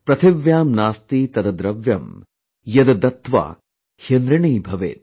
प्रथिव्यां नास्ति तद दृव्यं, यद दत्त्वा ह्यनृणीभवेत ||